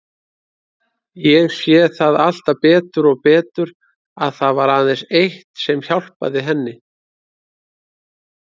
Ég sé það alltaf betur og betur að það var aðeins eitt sem hjálpaði henni.